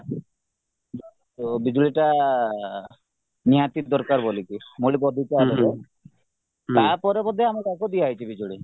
ଓ ବିଜୁଳିଟା ନିହାତି ଦରକାର ବୋଲିକି ତାପରେ ତାପରେ ବୋଧେ ଆମେ ତାଙ୍କୁ ଦିଆହେଇଛି ବିଜୁଳି